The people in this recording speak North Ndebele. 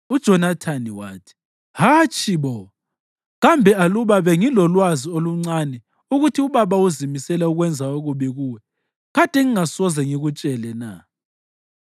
UJonathani wathi, “Hatshi bo! Kambe aluba bengilolwazi oluncane ukuthi ubaba uzimisele ukwenza okubi kuwe, kade ngingasoze ngikutshele na?”